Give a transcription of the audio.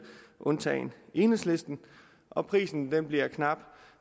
undtagen enhedslisten og prisen bliver knap